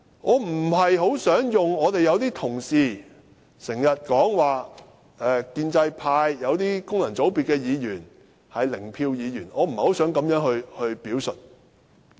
我不大想仿效有些同事所說，建制派來自功能界別的議員是"零票"議員，我不想作這樣的表述。